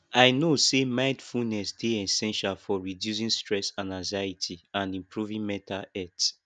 i know say mindfulness dey essential for reducing stress and anxiety and improving mental health